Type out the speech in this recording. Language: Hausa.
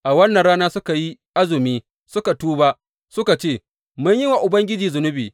A wannan rana suka yi azumi suka tuba, suka ce, Mun yi wa Ubangiji zunubi!